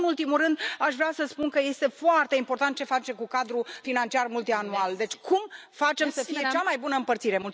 Și, nu în ultimul rând, aș vrea să spun că este foarte important ce facem cu cadrul financiar multianual. Deci cum facem să fie cea mai bună împărțire?